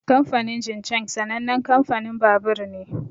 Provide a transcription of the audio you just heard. Kamfanin Jincheng sanannen kamfanin babur ne.